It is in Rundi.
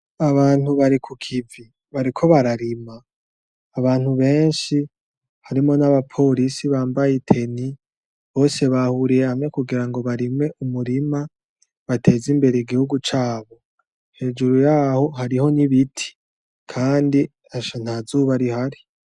Abantu bari ku kivi, bariko bararima, abantu benshi harimwo n'abaporisi bambaye i teni bose bahuriye hamwe kugira ngo barime umirima bateze imbere igihugu cabo, hejuru yaho hariho n'ibiti kandi asha nta zuba rihari.